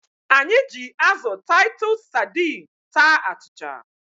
Anyị ji azụ Taịtus sadiin taa achịcha.